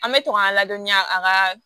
An bɛ to k'an ladɔniya a ka